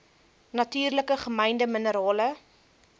natuurlik gemynde minerale